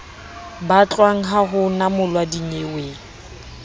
batlwang ha ho namolwa dinyeweng